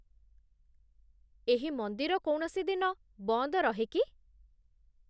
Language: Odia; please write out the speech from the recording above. ଏହି ମନ୍ଦିର କୌଣସି ଦିନ ବନ୍ଦ ରହେ କି?